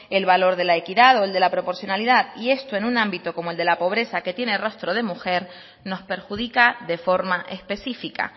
el valor de la equidad o el de la proporcionalidad y esto en un ámbito como el de la pobreza que tiene rostro de mujer nos perjudica de forma específica